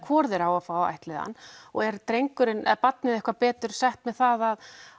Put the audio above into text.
hvor þeirra á að ættleiða hann og er er barnið betur sett með það